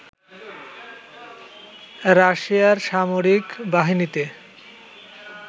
রাশিয়ার সামরিক বাহিনীতে